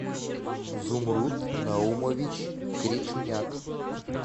зумруд наумович кречуняк